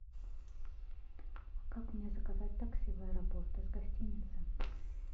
как мне заказать такси в аэропорт из гостиницы